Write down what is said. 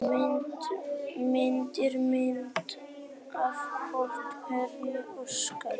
Myndir: Mynd af vofu: Hreinn Óskarsson.